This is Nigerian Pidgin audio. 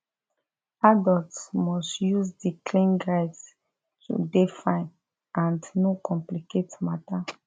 adults must use di clean guides to dey fine and no complicate matter